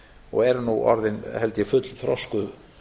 og eru nú orðin held ég fullþroskuð